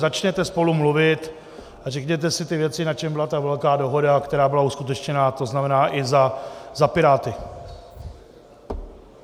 Začněte spolu mluvit a řekněte si ty věci, na čem byla ta velká dohoda, která byla uskutečněna, to znamená i za Piráty.